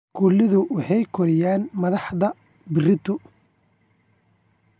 Iskoolada waxa ay koriyaan madaxda berito.